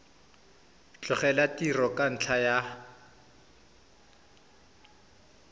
tlogela tiro ka ntlha ya